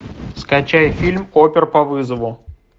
скачай фильм опер по вызову